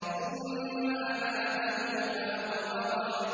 ثُمَّ أَمَاتَهُ فَأَقْبَرَهُ